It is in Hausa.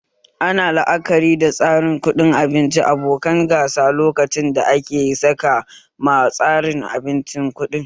Ana la'akari da tsarin kuɗin abinci abokan gasa lokacin da ake saka ma tsarin abincin kuɗi